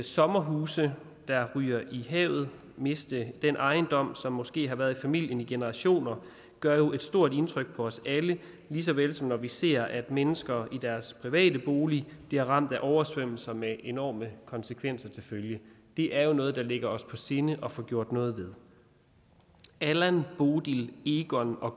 sommerhuse der ryger i havet at miste den ejendom som måske har været i familien i generationer gør jo et stort indtryk på os alle lige så vel som når vi ser at mennesker i deres private bolig bliver ramt af oversvømmelser med enorme konsekvenser til følge det er noget der ligger os på sinde at få gjort noget ved allan bodil egon og